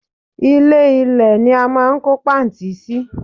Ilè- ilé ní a máa n kó pààntí sí